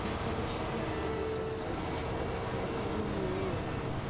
и короче я трогаю прям свою сиську вот так прям жму её